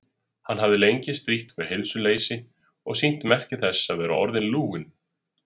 Hann hafði lengi strítt við heilsuleysi og sýnt merki þess að vera orðinn lúinn.